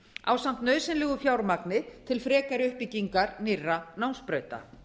ásamt nauðsynlegu fjármagni til frekari uppbyggingar nýrra námsbrauta